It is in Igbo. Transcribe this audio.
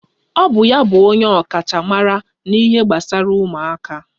Ọ bụ ya bụ ọkachamara n'ihe gbasara ụmụaka